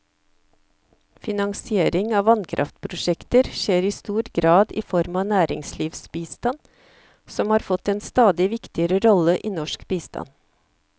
Finansiering av vannkraftprosjekter skjer i stor grad i form av næringslivsbistand, som har fått en stadig viktigere rolle i norsk bistand.